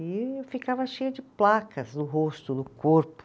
E eu ficava cheia de placas no rosto, no corpo.